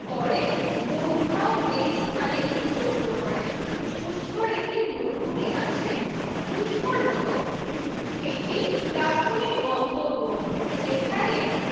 পরে ব্রহ্মা এই স্থানে যজ্ঞ করেন পুষ্করে কি মরুভূমি আছে? পুষ্কর হলো একটি প্রাথমিক গন্তব্য যেখানে